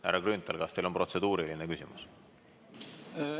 Härra Grünthal, kas teil on protseduuriline küsimus?